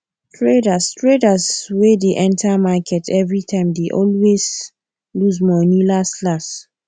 traders traders wey dey enter market everytime dey always lose money laslas